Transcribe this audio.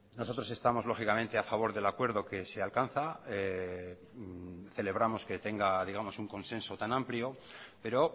nosotros estamos lógicamente a favor del acuerdo que se alcanza celebramos que tenga digamos un consenso tan amplio pero